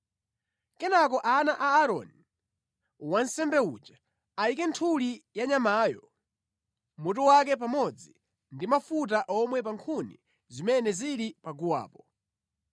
Kenaka ana a Aaroni, wansembe uja, ayike nthuli za nyamayo, mutu wake pamodzi ndi mafuta omwe pa nkhuni zimene zili paguwapo.